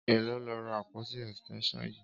Éló ló rá ápótí ẹstẹnṣọn yi?